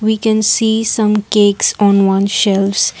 we can see some cakes on one shelves.